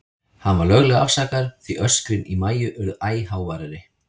Hann var löglega afsakaður, því öskrin í Maju urðu æ háværari.